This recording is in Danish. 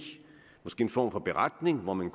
en form for beretning hvor man